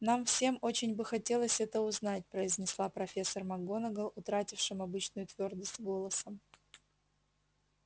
нам всем очень бы хотелось это узнать произнесла профессор макгонагалл утратившим обычную твёрдость голосом